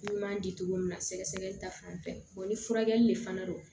Ɲuman di cogo min na sɛgɛsɛgɛli ta fanfɛ ni furakɛli le fana don